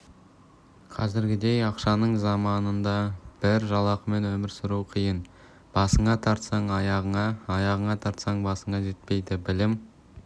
қазіргідей ақшаның заманында бір жалақымен өмір сүру қиын басыңа тартсаң аяғыңа аяғыңа тартсаң басыңа жетпейді білім